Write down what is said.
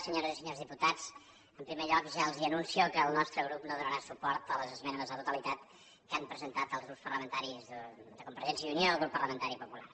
senyores i senyors diputats en primer lloc ja els anuncio que el nostre grup no donarà suport a les esmenes a la totalitat que han presentat els grups parlamentaris de convergència i unió i el grup parlamentari popular